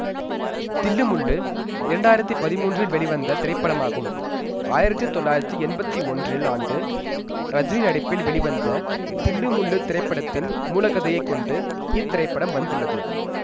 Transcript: தில்லு முல்லு இரண்டாயிரத்தி பதிமூன்றில் வெளிவந்த திரைப்படம் ஆகும் ஆயிரத்தி தொள்ளாயிரத்தி எம்பத்தி ஒன்றில் ஆண்டு ரஜினி நடிப்பில் வெளிவந்த தில்லு முல்லு திரைப்படத்தின் மூல கதையை கொண்டு இத்திரைப்படம் வந்துள்ளது